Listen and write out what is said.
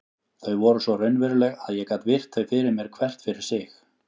Þau voru svo raunveruleg að ég gat virt þau fyrir mér hvert fyrir sig.